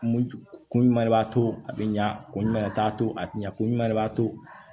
Kun jumɛn de b'a to a be ɲa ko ɲuman de t'a to a te ɲa kun jumɛn de b'a to